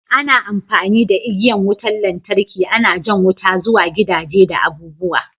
Ana amfani da igiyan wutan lantarki ana jan wuta zuwa gidaje da abu'buwa.